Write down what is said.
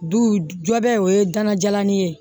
Du jɔ bɛ o ye gana jalanin ye